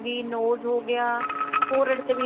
nose ਹੋ ਗਿਆ forehead ਤੇ ਵੀ